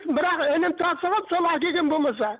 бірақ інім тасыған сол әкелген болмаса